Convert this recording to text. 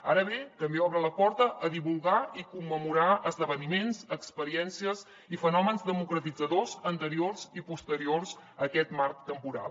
ara bé també obre la porta a divulgar i commemorar esdeveniments experiències i fenòmens democratitzadors anteriors i posteriors a aquest marc temporal